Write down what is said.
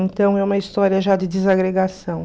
Então é uma história já de desagregação.